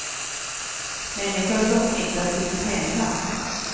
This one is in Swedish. Människor som smittats i sitt hemland.